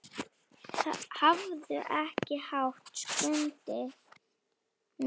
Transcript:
Hafðu ekki hátt, Skundi minn.